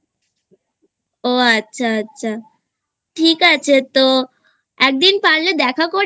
ও আচ্ছা আচ্ছা ঠিক আছে তো একদিন পারলে দেখা করিস